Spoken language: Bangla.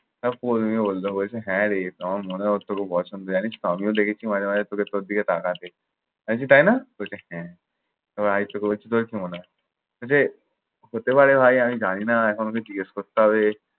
তারপরের দিনই ও বলল হ্যাঁরে আমার মনের অবস্থা খুব awesome জানিসতো আমিও দেখেছি মাঝে মাঝে ওকে তোর দিকে তাকতে। আমি বলেছি, তাই না? ও বলছে হ্যাঁ। এবার আদিত্যকে বলছি তোর কি মনে হয়? বলছে হতে পারে ভাই। আমি জানি না। এখন ওক জিজ্ঞেস করতে হবে।